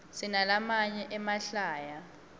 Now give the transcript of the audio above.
sinalamanye emahlaya